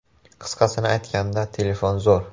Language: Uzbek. Qisqasini aytganda telefon zo‘r!